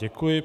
Děkuji.